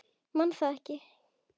Man það ekki.